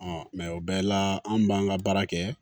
mɛ o bɛɛ la an b'an ka baara kɛ